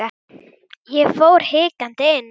Ég fór hikandi inn.